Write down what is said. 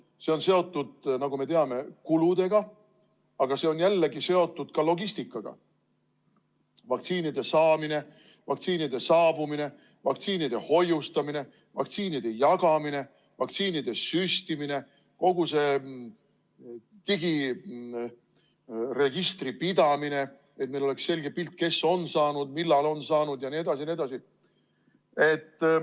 See on seotud, nagu me teame, kuludega, ja see on jällegi seotud ka logistikaga: vaktsiinide saamine, vaktsiinide saabumine, vaktsiinide hoiustamine, vaktsiinide jagamine, vaktsiinide süstimine, kogu see digiregistri pidamine, et meil oleks selge pilt, kes on saanud, millal on saanud jne.